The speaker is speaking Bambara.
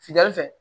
Futeni fɛ